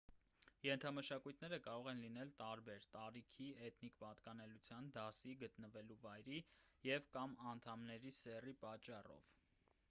ենթամշակույթները կարող են լինել տարբեր` տարիքի էթնիկ պատկանելիության դասի գտնվելու վայրի և կամ անդամների սեռի պատճառով: